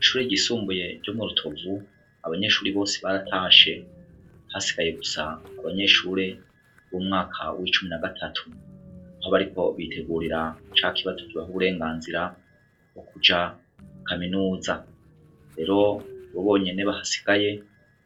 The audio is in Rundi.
Icure gisumbuye ryo mu rutovu abanyeshuri bose baratashe hasigaye gusa ku banyeshure b'umwaka w'icumi na gatatu nko abariko bitegurira ca kibazo kibaho uburenganzira bwo kuja kaminuza, rero bo bonyene bahasigaye